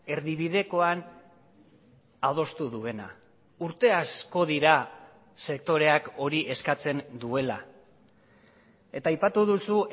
erdibidekoan adostu duena urte asko dira sektoreak hori eskatzen duela eta aipatu duzu